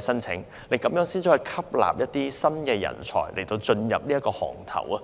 申請，才能吸納一些新人才加入行業。